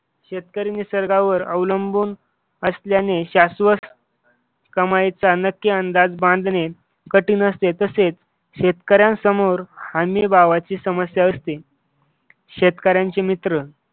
शेतकरी निसर्गावर अवलंबून असल्याने शाश्वत कमाईचा नक्की अंदाज बांधणे कठीण असते, तसेच शेतकऱ्यांसमोर हमीभावाची समस्या असते.